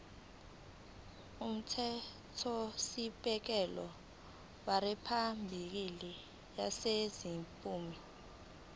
umthethosisekelo weriphabhulikhi yaseningizimu